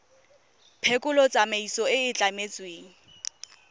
phekolo tsamaiso e e tlametsweng